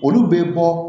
Olu bɛ bɔ